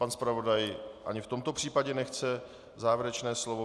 Pan zpravodaj ani v tomto případě nechce závěrečné slovo.